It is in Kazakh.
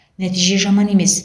нәтиже жаман емес